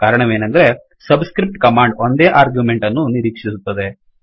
ಕಾರಣವೇನೆಂದರೆ subscript command ಒಂದೇ argument ಅನ್ನು ನಿರೀಕ್ಷಿಸುತ್ತದೆ